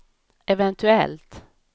eventuellt